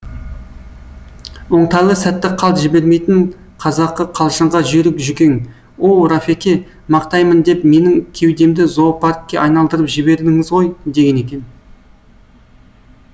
оңтайлы сәтті қалт жібермейтін қазақы қалжыңға жүйрік жүкең оу рафеке мақтаймын деп менің кеудемді зоопаркке айналдырып жібердіңіз ғой деген екен